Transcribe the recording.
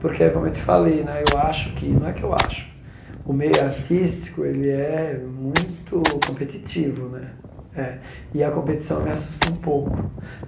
Porque, como é eu te falei né, eu acho que não é que eu acho, o meio artístico ele é muito competitivo né é, e a competição me assustou um pouco.